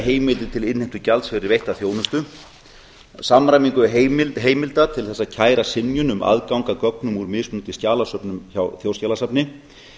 heimildir til innheimtu gjalds fyrir veitta þjónustu samræmingu heimilda til að kæra synjun um aðgang að gögnum úr mismunandi skjalasöfnum hjá þjóðskjalasafni